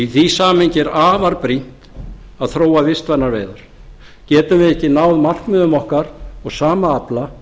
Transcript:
í því samhengi er afar brýnt að þróa vistvænar veiðar getum við ekki náð markmiðum okkar og sama afla